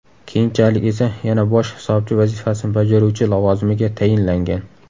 Keyinchalik esa yana bosh hisobchi vazifasini bajaruvchi lavozimiga tayinlangan.